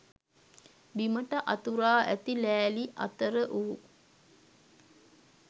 බිමට අතුරා ඇති ලෑලි අතර වූ